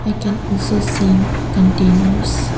I can also seen containers.